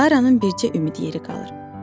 Klaranın bircə ümid yeri qalır.